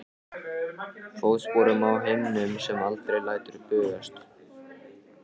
Fótsporum á himnum sem aldrei lætur bugast.